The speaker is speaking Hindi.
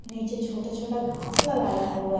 नीचे छोटा छोटा घास लगाया हुआ है।